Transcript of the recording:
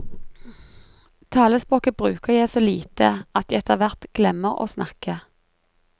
Talespråket bruker jeg så lite at jeg etter hvert glemmer å snakke.